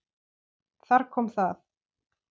Þar kom það!